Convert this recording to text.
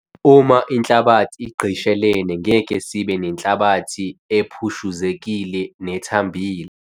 Uma inhlabathi igqishelene ngeke sibe nenhlabathi ephushuzekile nethambile.